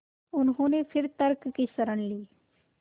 उन्होंने फिर तर्क की शरण ली